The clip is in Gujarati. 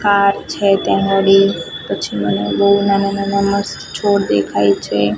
કાર છે ત્યાં અગાડી પછી મને બૌ નાના નાના મસ્ત છોડ દેખાય છે.